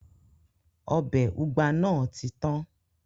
Ọbẹ̀ ugba nàá ti tán